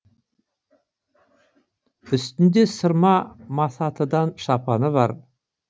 үстінде сырма масатыдан шапаны бар